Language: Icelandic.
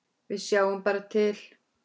Við sjáum bara til.